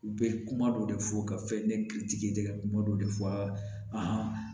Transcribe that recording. U bɛ kuma dɔ de fɔ ka fɛn ne hakilitigi kuma dɔ de fɔ aa